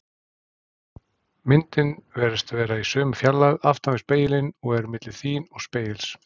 Myndin virðist vera í sömu fjarlægð aftan við spegilinn og er milli þín og spegils.